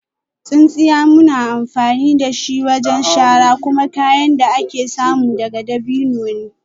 Tsintsiya da muke amfani da shi wajen shara kuma kayan da ake samu daga dabino ne